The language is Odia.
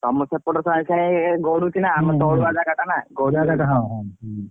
ତମ ସେପଟ ସାଇଁ ସାଇଁ ହେଇକି ଗଡ଼ୁଛି ନା ଆମର ତଳୁଆ ଜାଗା ଟା ନା ।